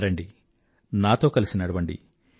రండి నాతో కలిసి నడవండి